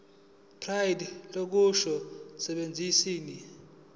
pride lobukhosi baseswazini